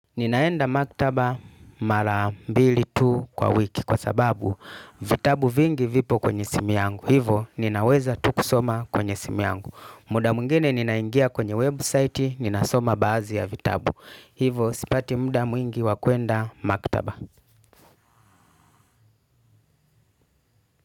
Ninaenda maktaba mara mbili tu kwa wiki kwa sababu vitabu vingi vipo kwenye simu yangu. Hivo ninaweza tu kusoma kwenye simu yangu. Muda mwingine ninaingia kwenye website ninasoma baazi ya vitabu. Hivo sipati muda mwingi wa kuenda maktaba.